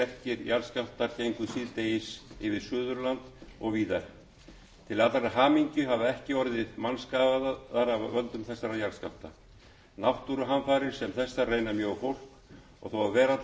sterkir jarðskjálftar gengu síðdegis yfir suðurland og víðar til allrar hamingju hafa ekki orðið mannskaðar af völdum þessara jarðskjálfta náttúruhamfarir sem þessar reyna mjög á fólk og þó að veraldlegar eigur